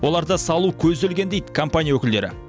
оларды салу көзделген дейді компания өкілдері